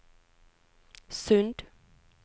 Sund